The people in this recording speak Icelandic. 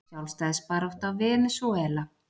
Sjálfstæðisbarátta Venesúela.